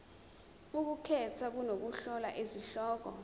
ukukhetha nokuhlola izihloko